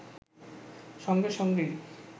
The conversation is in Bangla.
সঙ্গে সঙ্গেই